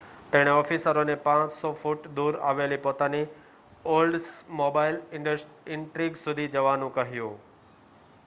તેણે ઑફિસરોને 500 ફૂટ દૂર આવેલી પોતાની ઓલ્ડ્સમોબાઇલ ઇન્ટ્રિગ સુધી જવાનું કહ્યું